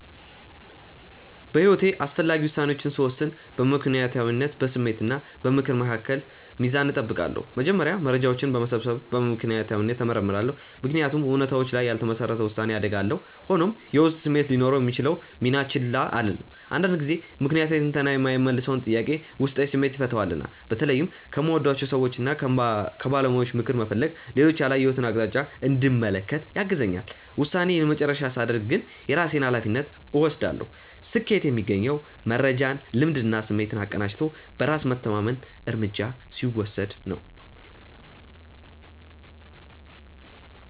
በሕይወቴ አስፈላጊ ውሳኔዎችን ስወስን በምክንያታዊነት፣ በስሜት እና በምክር መካከል ሚዛን እጠብቃለሁ። መጀመሪያ መረጃዎችን በመሰብሰብ በምክንያታዊነት እመረምራለሁ፤ ምክንያቱም እውነታዎች ላይ ያልተመሰረተ ውሳኔ አደጋ አለው። ሆኖም፣ የውስጥ ስሜቴ ሊኖረው የሚችለውን ሚና ችላ አልልም፤ አንዳንድ ጊዜ ምክንያታዊ ትንተና የማይመልሰውን ጥያቄ ውስጣዊ ስሜቴ ይፈታዋልና። በተለይም ከምወዳቸው ሰዎችና ከባለሙያዎች ምክር መፈለግ ሌሎች ያላየሁትን አቅጣጫ እንድመለከት ያግዘኛል። ውሳኔዬን የመጨረሻ ሳደርግ ግን የራሴን ሃላፊነት እወስዳለሁ። ስኬት የሚገኘው መረጃን፣ ልምድንና ስሜትን አቀናጅቶ በራስ መተማመን እርምጃ ሲወስድ ነው።